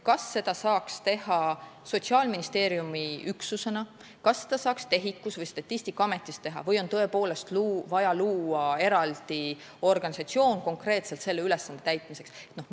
Kas seda saaks teha Sotsiaalministeeriumi üksus, kas seda saaks teha TEHIK-us või Statistikaametis või on tõepoolest vaja luua eraldi organisatsioon konkreetselt selle ülesande täitmiseks?